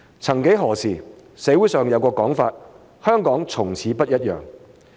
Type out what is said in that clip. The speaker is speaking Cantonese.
曾幾何時，社會上有個講法，說香港從此不一樣。